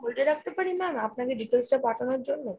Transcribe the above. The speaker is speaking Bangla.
hold এ রাখতে পারি ma'am আপনাকে details টা পাঠানোর জন্য ?